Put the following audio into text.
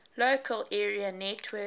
local area network